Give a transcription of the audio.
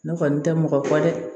Ne kɔni tɛ mɔgɔ kɔ dɛ